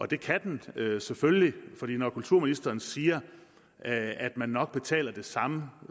det kan den selvfølgelig for når kulturministeren siger at at man nok betaler det samme